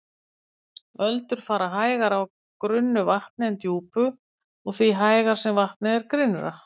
Öldur fara hægar á grunnu vatni en djúpu og því hægar sem vatnið er grynnra.